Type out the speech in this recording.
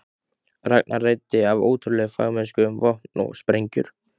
Ragnar ræddi af ótrúlegri fagmennsku um vopn og sprengjur.